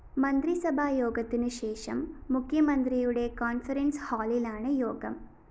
മന്ത്രിസഭാ യോഗത്തിനുശേഷം മുഖ്യമന്ത്രിയുടെ കോണ്‍ഫറന്‍സ് ഹാളിലാണ് യോഗം